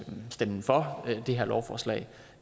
stemmer for det her lovforslag